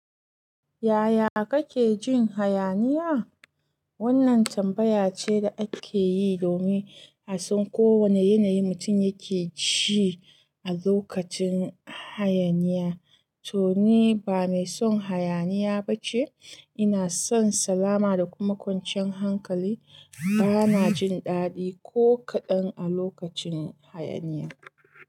Yaya kake jin hayaniya? Wannan tambaya ce da ake yi domin a san ko wane yanayin mutum yake ci a lokacin hayaniya. To, ni ba mai son hayaniya ba ce. Ina son salama da kuma kwanciyar hankali. Bana jin daɗi ko kaɗan a lokacin hayaniya.